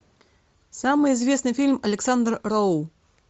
самый известный фильм александр роу